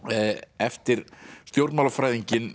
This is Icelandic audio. eftir